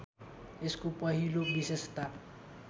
यसको पहिलो विशेषता